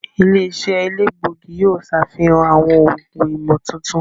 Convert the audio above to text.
Ile-iṣẹ elegbogi yoo ṣafihan awọn oogun imotuntun.